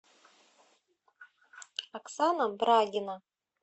оксана брагина